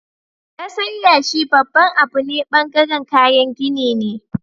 kasar yashi babban Abu ne bangaren kayan gini ne